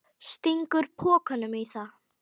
Stingur pokanum í það.